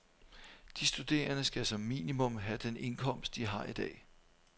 De studerende skal som minimum have den indkomst, de har i dag.